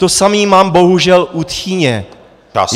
To samé mám bohužel u tchyně.